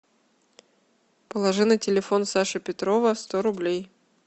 положи на телефон саши петрова сто рублей